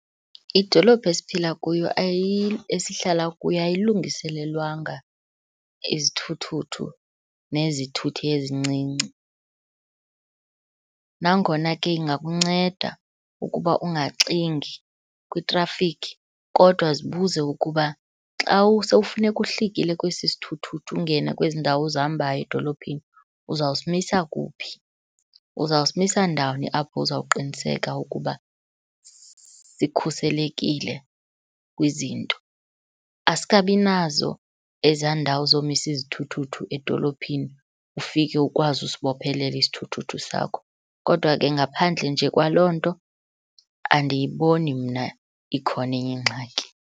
Idolophu esiphila kuyo , esihlala kuyo ayilungiselelwanga izithuthuthu nezithuthi ezincinci. Nangona ke ingakunceda ukuba ungaxingi kwitrafikhi kodwa zibuze ukuba xa usowufuneka uhlikile kwesi sithuthuthu ungene kwezi ndawo uzihambayo edolophini uzawusimisa kuphi, uzawusimisa ndawuni apho uzawuqiniseka ukuba sikhuselekile kwizinto. Asikabinazo ezaa ndawo zomisa izithuthuthu edolophini, ufike ukwazi usibophelela isithuthuthu sakho. Kodwa ke ngaphandle nje kwaloo nto, andiyiboni mna ikhona enye ingxaki.